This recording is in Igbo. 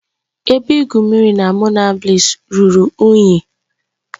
Ebe igwu mmiri na Monabliss ruru unyi